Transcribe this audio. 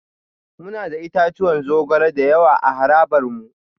Muna da itatuwan zogale da yawa a harabar mu